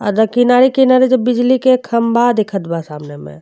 अगर किनारे -किनारे जब बिजली के खम्भा दिखत बा सामने में।